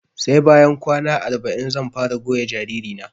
Sai bayan kwana arba'in zan fara goya jariri na